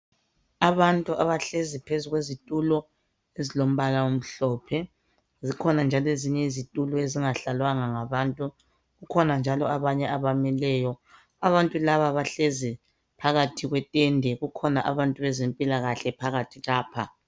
Abantu abahlezi phezu kwezitulo ezilombala omhlophe zikhona njalo ezinye izitulo ezingahlalwanga ngabantu kukhona njalo abanye abamileyo abantu laba bahlezi phakathi kwetende kukhona abantu bezempilakahle phakathi lapha.